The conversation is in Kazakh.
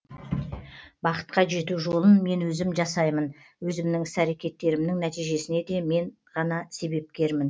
бақытқа жету жолын мен өзім жасаймын өзімнің іс әрекеттерімнің нәтижесіне де мен ғана себепкермін